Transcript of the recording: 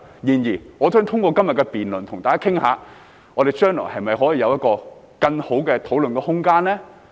然而，我想透過今天的辯論跟大家討論，我們將來可否有一個更好的討論空間呢？